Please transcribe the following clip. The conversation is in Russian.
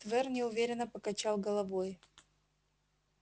твер неуверенно покачал головой